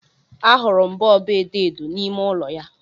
Ahụrụ m bọọbụ edo edo n'ime ụlọ ya